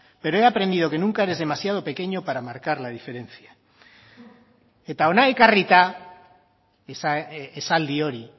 pero he aprendido que nunca eres demasiado pequeño para marcar la diferencia eta hona ekarrita esaldi hori